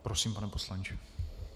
Prosím, pane poslanče.